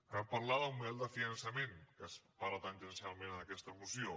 cal parlar d’un model de finançament que se’n parla tangencialment en aquesta moció